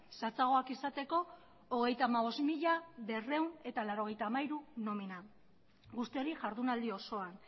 zehatzagoak izateko hogeita hamabost mila berrehun eta laurogeita hamairu nomina guzti hori jardunaldi osoan